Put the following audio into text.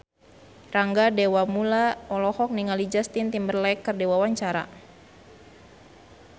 Rangga Dewamoela olohok ningali Justin Timberlake keur diwawancara